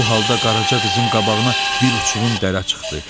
Bu halda Qaraca qızın qabağına bir uçurum dərə çıxdı.